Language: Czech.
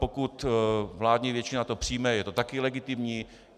Pokud vládní většina to přijme, je to taky legitimní.